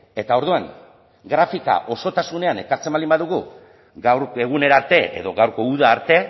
eta orduan grafika osotasunean ekartzen baldin badugu gaur egunera arte edo gaurko uda arte